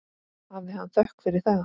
Hafi hann þökk fyrir það.